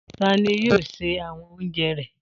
Ta ni yóò se awon oúnjẹ rẹ?